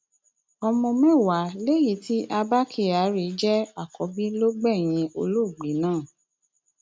ọmọ mẹwàá léyìí tí abba kyari jẹ àkọbí ló gbẹyìn olóògbé náà